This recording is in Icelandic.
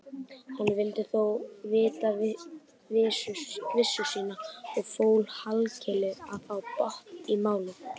Hann vildi þó vita vissu sína og fól Hallkeli að fá botn í málið.